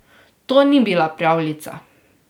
To ni bila pravljica.